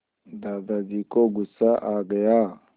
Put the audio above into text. दादाजी को गुस्सा आ गया